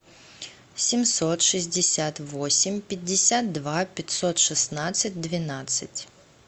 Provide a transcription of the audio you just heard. семьсот шестьдесят восемь пятьдесят два пятьсот шестнадцать двенадцать